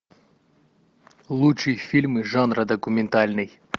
лучшие фильмы жанра документальный